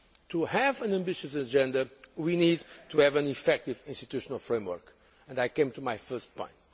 To have an ambitious agenda, we need to have an effective institutional framework, and I come back to my first point.